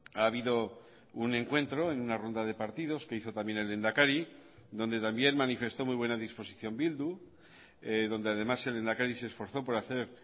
ha habido un encuentro en una ronda de partidos que hizo también el lehendakari donde también manifestó muy buena disposición bildu donde además el lehendakari se esforzó por hacer